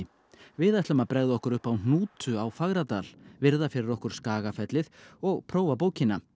við ætlum að bregða okkur upp á hnútu á Fagradal virða fyrir okkur og prófa bókina